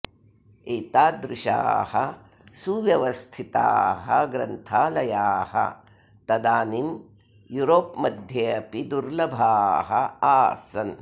एतादृशाः सुव्यवस्थिताः ग्रन्थालयाः तदानीं यूरोप्मध्ये अपि दुर्लभाः आसन्